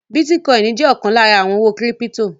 Bítíkọìnì jẹ́ ọ̀kan lára àwọn owó kírípítò.